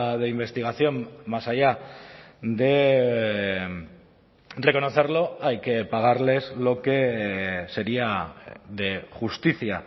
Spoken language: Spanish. de investigación más allá de reconocerlo hay que pagarles lo que sería de justicia